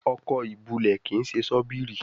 Ọkọ́ ìbulẹ̀ kín ṣe Ṣọ́bìrì